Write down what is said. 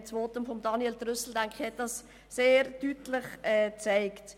Ich denke, das Votum von Grossrat Trüssel hat das sehr deutlich aufgezeigt.